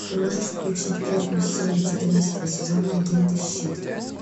ты можешь включить первую серию четырнадцатого сезона агенты щит